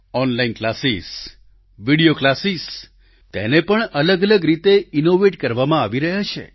online classes video classes તેને પણ અલગ અલગ રીતે ઈનોવેટ કરવામાં આવી રહ્યા છે